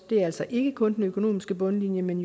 det er altså ikke kun den økonomiske bundlinje men